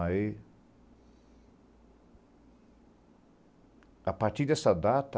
Aí... A partir dessa data,